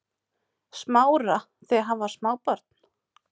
Smára þegar hann var smábarn?